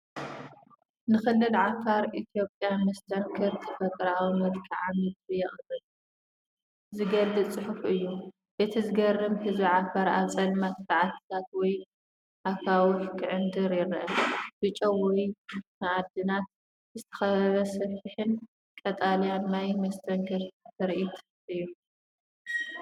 ንክልል ዓፋር ኢትዮጵያ መስተንክር ተፈጥሮኣዊ መልክዓ ምድሪ የቕርብ/ዝገልፅ ፅሑፍ እዩ። እቲ ዘገርም ህዝቢ ዓፋር ኣብ ጸልማት በዓትታት ወይ ኣኻውሕ ክዕንድር ይረአ። ብጨው ወይ ማዕድናት ዝተኸበበ ሰፊሕን ቀጠልያን ማይ መስተንክር ትርኢት እዩ።